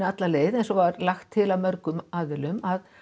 alla leið eins og var lagt til af mörgum aðilum að